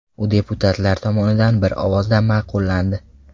U deputatlar tomonidan bir ovozdan ma’qullandi.